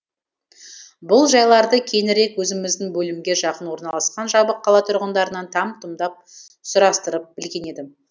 бұл жайларды кейінірек өзіміздің бөлімге жақын орналасқан жабық қала тұрғындарынан там тұмдап сұрастырып білген едім